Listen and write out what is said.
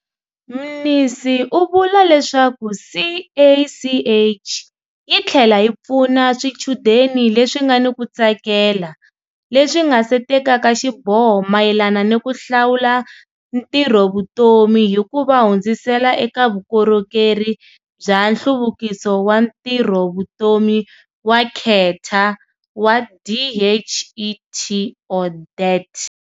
Mnisi u vula leswaku CACH yi tlhela yi pfuna swichudeni leswi nga ni ku tsakela leswi nga se tekaka xiboho mayelana ni ku hlawula ntirhovutomi hi ku va hundzisela eka Vukorhokeri bya Nhluvukiso wa Ntirhovutomi wa Kheta wa DHET.